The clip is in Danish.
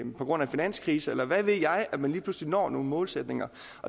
på grund af finanskrise eller hvad ved jeg at man lige pludselig når nogle målsætninger